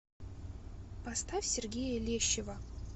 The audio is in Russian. поставь сергея лещева